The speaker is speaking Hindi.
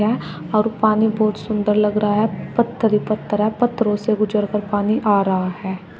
और पानी बहुत सुंदर लग रहा है पत्थर पत्थर है पत्थरों से गुजर कर पानी आ रहा है।